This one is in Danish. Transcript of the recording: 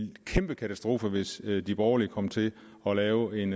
en kæmpe katastrofe hvis de borgerlige kommer til at lave en